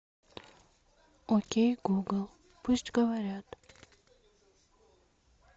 окей гугл пусть говорят